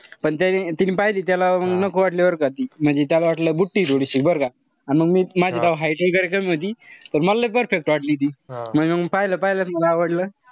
पण त्यांनी तिनी पाहिजे त्याला नको वाटली बरं का ती. म्हणजे त्याला वाटलं बुटकीय थोडीशी बरं का. अन मग मी माझी height वगैरे कमी होती. तर मला लय perfect वाटली ती. म्हणजे मग पाहायला-पाहायलाच मला लय आवडलं.